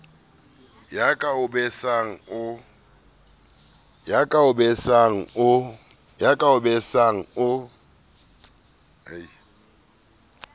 ya ka o besang o